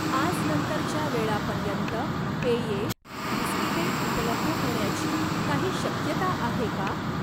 आज नंतरच्या वेळापर्यंत पेये, बिस्किटे उपलब्ध होण्याची काही शक्यता आहे का?